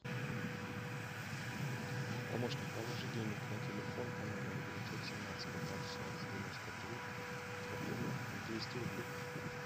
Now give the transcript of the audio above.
помощник положи денег на телефон по номеру девятьсот семнадцать пятнадцать шестнадцать девяносто три в объеме двести рублей